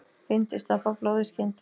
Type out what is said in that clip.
Bindi stoppar blóð í skyndi.